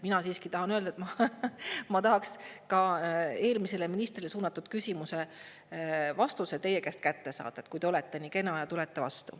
Mina siiski tahan öelda, et ma tahaks ka eelmisele ministrile suunatud küsimuse vastuse teie käest kätte saada, kui te olete nii kena ja tulete vastu.